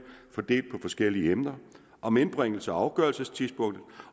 fordelt på forskellige emner om indbringelses og afgørelsestidspunktet